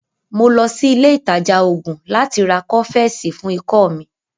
Mo lọ sí ilé ìtajà oògùn láti ra Kófẹ́sì fún ikọ́ mi.